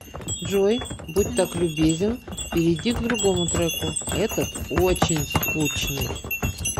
джой будь так любезен перейди к другому треку этот очень скучный